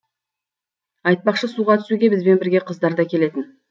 айтпақшы суға түсуге бізбен бірге қыздар да келетін